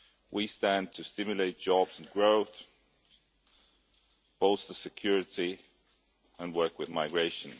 We stand to stimulate jobs and growth, bolster security and work with migration.